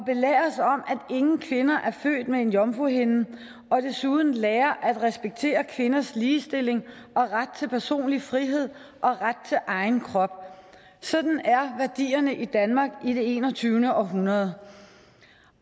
ingen kvinder er født med en jomfruhinde og desuden lære at respektere kvinders ligestilling ret til personlig frihed og ret til egen krop sådan er værdierne i danmark i det enogtyvende århundrede